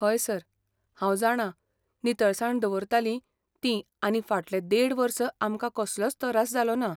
हय सर, हांव जाणा नितळसाण दवरतालीं ती आनी फाटलें देड वर्स आमकां कसलोच तरास जालो ना.